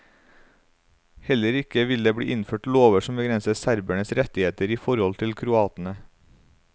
Heller ikke vil det bli innført lover som begrenser serbernes rettigheter i forhold til kroatene.